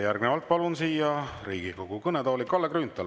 Järgnevalt palun Riigikogu kõnetooli Kalle Grünthali.